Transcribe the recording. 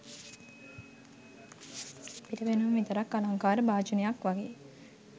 පිට පෙනුම විතරක් අලංකාර භාජනයක් වගේ.